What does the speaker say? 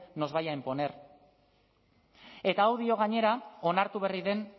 nos vaya a imponer eta hau dio gainera onartu berri den